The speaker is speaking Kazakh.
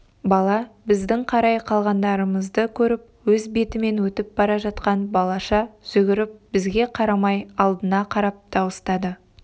бала біздің қарай қалғанымызды көріп өз бетімен өтіп бара жатқан балаша жүгіріп бізге қарамай алдына қарап дауыстады